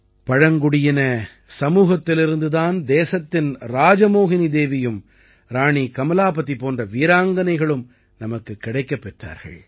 பழங்குடியின சமூகத்திலிருந்து தான் தேசத்தின் ராஜமோஹினி தேவியும் ராணி கமலாபதி போன்ற வீராங்கனைகளும் நமக்குக் கிடைக்கப் பெற்றார்கள்